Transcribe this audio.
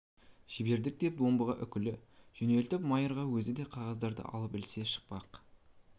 жібердік деп омбыға үкілі жөнелтіп майыр өзі де қағаздарды алып ілесе шықпақ